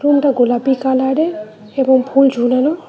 রুমটা গোলাপি কালারের এবং ফুল ঝোলানো।